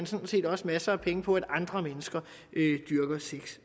sådan set også masser af penge på at andre mennesker dyrker sex